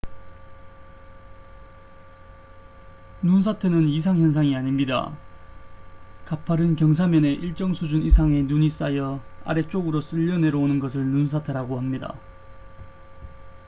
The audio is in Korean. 눈사태는 이상 현상이 아닙니다 가파른 경사면에 일정 수준 이상의 눈이 쌓여 아래쪽으로 쓸려 내려오는 것을 눈사태라고 합니다